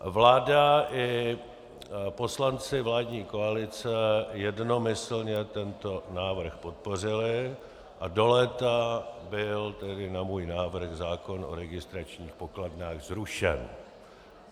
Vláda i poslanci vládní koalice jednomyslně tento návrh podpořili a do léta byl tedy na můj návrh zákon o registračních pokladnách zrušen.